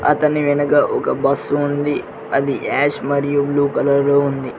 అతని వెనక ఒక బస్సు ఉంది అది యాష్ మరియు బ్లూ కలర్ లో ఉంది.